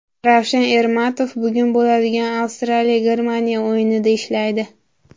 Ravshan Ermatov bugun bo‘ladigan Avstraliya Germaniya o‘yinida ishlaydi.